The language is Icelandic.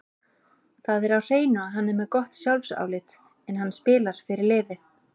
Það er á hreinu að hann er með gott sjálfsálit, en hann spilar fyrir liðið.